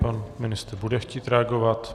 Pan ministr bude chtít reagovat.